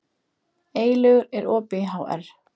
Eylaugur, er opið í HR?